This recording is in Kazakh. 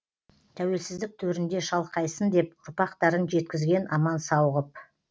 тәуелсіздік төрінде шалқайсын деп ұрпақтарын жеткізген аман сау ғып